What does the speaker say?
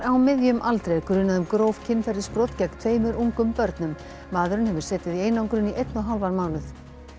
á miðjum aldri er grunað um gróf kynferðisbrot gegn tveimur ungum börnum maðurinn hefur setið í einangrun í einn og hálfan mánuð